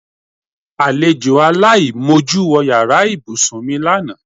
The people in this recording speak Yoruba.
Alejò aláìmojú wo̩ yàrá ìbúsùn mi lánàá.